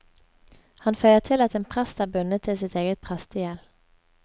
Han føyer til at en prest er bundet til sitt eget prestegjeld.